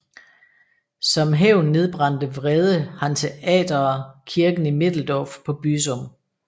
Som hævn nedbrændte vrede hanseatere kirken i Middeldorf på Büsum